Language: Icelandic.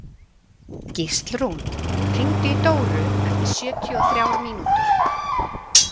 Gíslrún, hringdu í Dóru eftir sjötíu og þrjár mínútur.